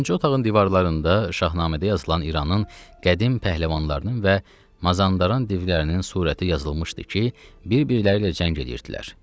Dördüncü otağın divarlarında Şahnamədə yazılan İranın qədim pəhləvanlarının və Mazandaran divlərinin surəti yazılmışdı ki, bir-birləri ilə cəng edirdilər.